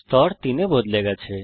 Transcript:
স্তর 3 তে বদলে গেছে